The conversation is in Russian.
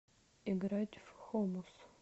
играть в хомус